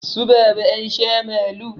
Su baba ansha malu